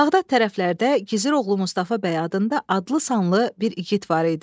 Bağdad tərəflərdə Gizir oğlu Mustafa bəy adında adlı sanlı bir igid var idi.